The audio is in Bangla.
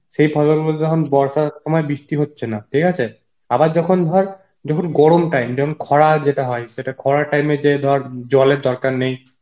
সেই ফসল গুলো যখন বর্ষার সময় বৃষ্টি হচ্ছে না ঠিক আছে, আবার যখন ধর, যখন গরম time যখন খরা যেটা হয় সেটা খরার time এ যে ধর জলের দরকার নেই